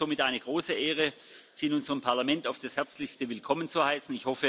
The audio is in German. Es ist uns somit eine große Ehre, Sie in unserem Parlament auf das herzlichste willkommen zu heißen.